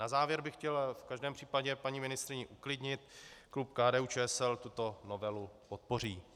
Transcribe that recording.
Na závěr bych chtěl v každém případě paní ministryni uklidnit, klub KDU-ČSL tuto novelu podpoří.